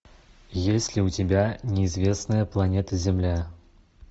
есть ли у тебя неизвестная планета земля